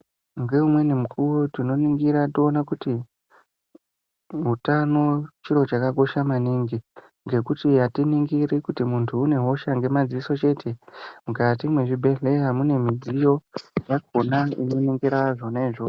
Ngeumweni mukuwo tinoningira toona kuti utano chiro chakakosha maningingekuti atiningiri kuti muntu une hosha ngemadziso chete mukati mwezvibhedhleya mune midziyo yakhona inoningira zvona izvozvo.